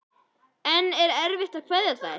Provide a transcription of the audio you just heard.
En er erfitt að kveðja þær?